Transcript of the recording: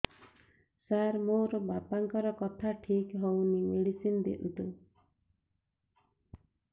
ସାର ମୋର ବାପାଙ୍କର କଥା ଠିକ ହଉନି ମେଡିସିନ ଦିଅନ୍ତୁ